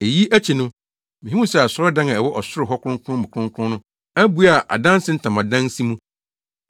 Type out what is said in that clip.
Eyi akyi no, mihuu sɛ asɔredan a ɛwɔ ɔsoro hɔ Kronkron mu Kronkron no abue a adanse ntamadan si mu.